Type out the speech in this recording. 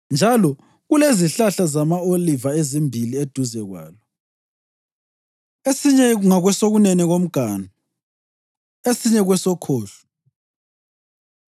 Njalo kulezihlahla zama-oliva ezimbili eduze kwalo, esinye ngakwesokunene komganu, esinye kwesokhohlo.”